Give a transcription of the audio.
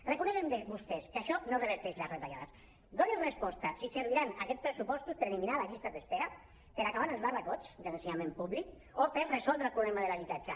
reconeguin vostès que això no reverteix les retallades donin resposta a si serviran aquests pressupostos per eliminar les llistes d’espera per acabar amb els barracots de l’ensenyament públic o per resoldre el problema de l’habitatge